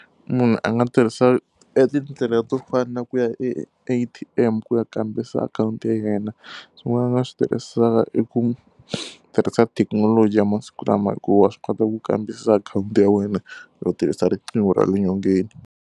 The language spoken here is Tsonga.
Munhu a nga tirhisa etindlela to fana na ku ya e A_T_M ku ya kambisisa akhawunti ya yena. Swin'wana a nga swi tirhisaka i ku tirhisa thekinoloji ya masiku lama hikuva swi kota ku kambisisa akhawunti ya wena ro tirhisa riqingho ra le nyongeni.